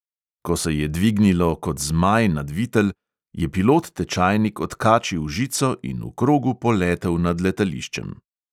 Ko se je dvignilo kot zmaj nad vitel, je pilot tečajnik odkačil žico in v krogu poletel nad letališčem.